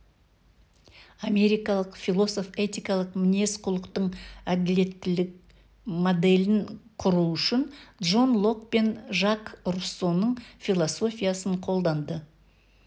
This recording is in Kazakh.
америкалық философ этикалық мінез-құлықтың әділеттілік моделін құру үшін джон лок пен жак руссоның философиясын қолданды